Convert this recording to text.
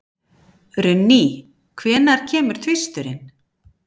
Runný, hvenær kemur tvisturinn?